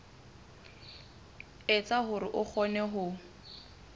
etsa hore o kgone ho